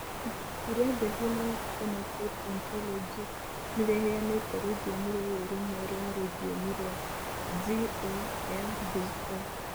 Ibuku rĩa The Human Phenotype Ontology nĩ rĩheanĩte rũthiomi rũrũ rũmwe rwa rũthiomi rwa GOMBO.